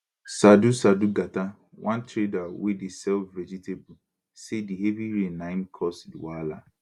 saadu saadu gata one trader wey dey sell vegetable say di heavy rain na im cause di wahala